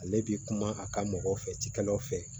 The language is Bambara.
Ale bi kuma a ka mɔgɔw fɛ cikɛlaw fɛ